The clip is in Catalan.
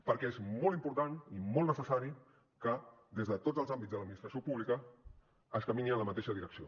perquè és molt important i molt necessari que des de tots els àmbits de l’administració pública es camini en la mateixa direcció